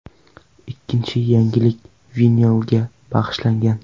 Ikkinchi yangilik vinilga bag‘ishlangan.